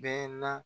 Bɛɛ la